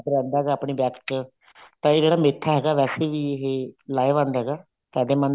ਰਹਿੰਦਾ ਹੈਗਾ ਆਪਣੀ back ਚ ਦਰਦ ਰਹਿੰਦਾ ਹੈਗਾ back ਚ ਤਾਂ ਜਿਹੜਾ ਮੇਥਾ ਹੈਗਾ ਵੇਸੇ ਵੀ ਇਹ ਲਾਹੇਵੰਦ ਹੈਗਾ ਫਾਇਦੇਮੰਦ